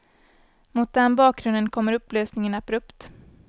Mot den bakgrunden kommer upplösningen abrupt.